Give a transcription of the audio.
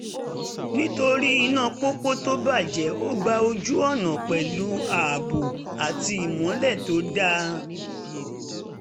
nítorí iná pópó tó bàjẹ́ ó gba ojú-ọ̀nà pẹ̀lú ààbò àti ìmọ́lẹ̀ tó dáa